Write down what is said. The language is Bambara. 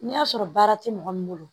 N'a sɔrɔ baara tɛ mɔgɔ min bolo